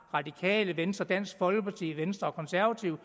radikale venstre dansk folkeparti venstre og konservative